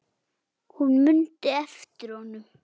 Hún mundi eftir honum.